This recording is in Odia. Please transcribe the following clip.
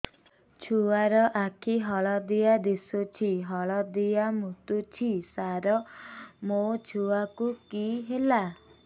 ଛୁଆ ର ଆଖି ହଳଦିଆ ଦିଶୁଛି ହଳଦିଆ ମୁତୁଛି ସାର ମୋ ଛୁଆକୁ କି ହେଲା